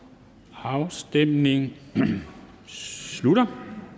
afstemningen slutter